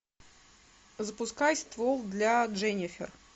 запускай ствол для дженнифер